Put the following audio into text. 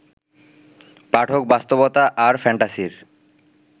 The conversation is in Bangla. পাঠক বাস্তবতা আর ফ্যান্টাসির